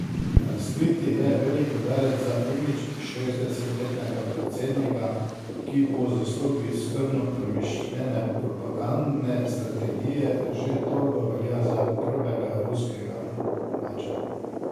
Razkritje je velik udarec za imidž šestdesetletnega predsednika, ki po zaslugi skrbno premišljene propagandne strategije že dolgo velja za prvega ruskega mača.